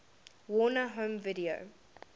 warner home video